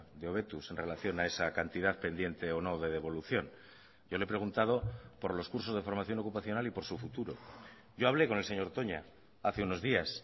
de hobetuz en relación a esa cantidad pendiente o no de devolución yo le he preguntado por los cursos de formación ocupacional y por su futuro yo hablé con el señor toña hace unos días